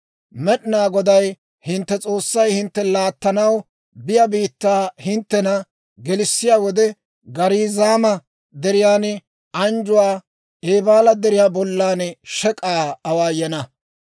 Med'inaa Goday hintte S'oossay hintte laattanaw biyaa biittaa hinttena gelissiyaa wode, Gariizaama Deriyan anjjuwaa Eebaala Deriyaa bollan shek'k'aa awaayana.